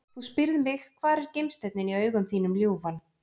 Þú spyrð mig hvar er gimsteinninn í augum þínum ljúfan?